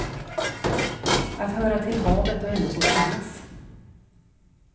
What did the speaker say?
Att höra till havet, och ändå få finnas.